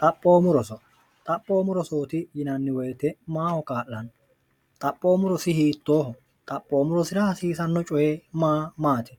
xaphoomurosoxaphoomu rosooti yinanni woyite maaho qaa'lanno xaphoommurosi hiittooho xaphoommu rosira hasiisanno coye ma maati